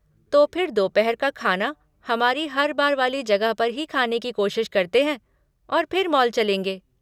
तो फिर दोपहर का ख़ाना हमारी हर बार वाली जगह पर ही खाने की कोशिश करते हैं और फिर मॉल चलेंगे।